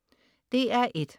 DR1: